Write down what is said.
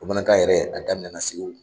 Bamanankan yɛrɛ a daminɛ na Segu.